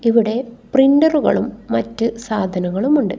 ഇവിടെ പ്രിന്ററുകളും മറ്റ് സാധനങ്ങളും ഉണ്ട്.